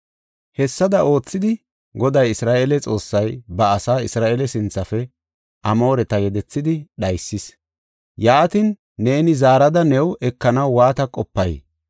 “Hessada oothidi Goday, Isra7eele Xoossay ba asaa Isra7eele sinthafe Amooreta yedethidi dhaysis. Yaatin, neeni zaarada new ekanaw waata qopay?